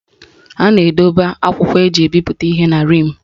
A na-edokwa akwụkwọ eji ebipụta ihe na rim